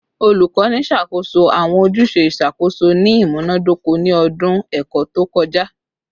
Olukọni ṣakoso awọn ojuse iṣakoso ni imunadoko ni ọdun ẹkọ to kọja